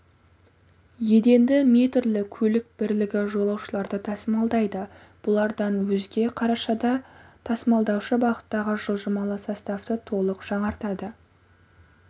еденді метрлі көлік бірлігі жолаушыларды тасымалдайды бұлардан өзге қарашада тасымалдаушы бағыттағы жылжымалы составты толық жаңартады